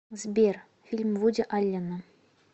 сбер фильм вуди аллена